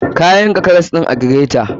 Ka yanka karas ɗin a greter.